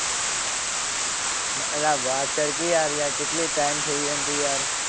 ના વાત કર કે યાર કેટલી ટાઇમ થઈ હે ને તું યાર.